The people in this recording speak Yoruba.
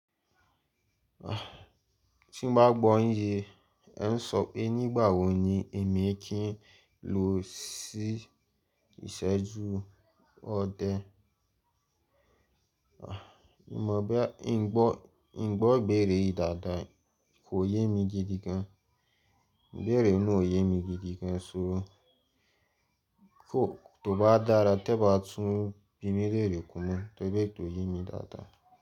Tí n bá gbọ́ yin yẹn, ẹ ń sọ pé nígbà wò ní èmi kí ń lọ sí ìsẹ́jú ọdẹ? Mo mọ bo ya n gbọ́, n gbọ́ ìbéèrè yìí dáadáa kò yé mi gidi gan. Ìbéèrè náà ò yé mi gidi gan, ṣugbon tó bá dára tí ẹ bá tún bími leere kún na to ri tó yé mi dáadáa.